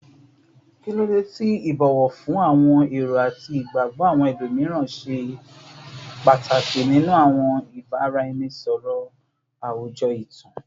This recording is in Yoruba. Kilode ti ibowo fun awọn ero ati igbagbọ awọn ẹlomiran ṣe pataki ninu awọn ibaraẹnisọrọ awujọ itan?